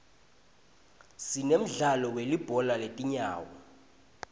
sinemdzalo welibhola letingawo